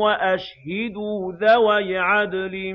وَأَشْهِدُوا ذَوَيْ عَدْلٍ